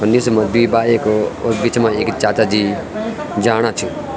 निस मा दुई बाइक और बीच मा एक चाचाजी जाणा छ।